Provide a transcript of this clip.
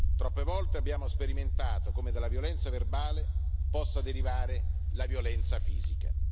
Troppe volte abbiamo sperimentato come dalla violenza verbale possa derivare la violenza fisica.